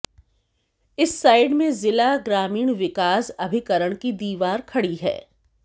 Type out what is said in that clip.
इस साइड में जिला ग्रामीण विकास अभिकरण की दीवाल खड़ी है